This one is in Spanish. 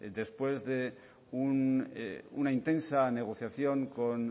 después de una intensa negociación con